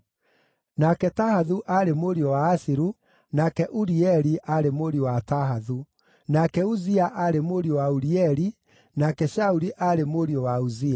nake Tahathu aarĩ mũriũ wa Asiru, nake Urieli aarĩ mũriũ wa Tahathu, nake Uzia aarĩ mũriũ wa Urieli, nake Shauli aarĩ mũriũ wa Uzia.